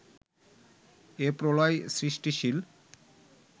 এ-প্রলয় সৃষ্টিশীল